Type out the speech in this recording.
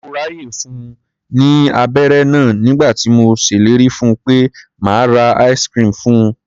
Mo ráàyè fun ní abẹ́ré náà nígbà tí mo ṣellérí fun pé màá ra ice-cream fun.